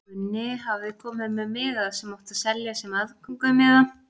Gunni hafði komið með miða sem átti að selja sem aðgöngumiða.